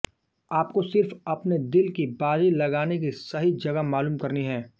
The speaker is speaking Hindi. आपको सिर्फ अपने दिल की बाजी लगाने की सही जगह मालूम करनी है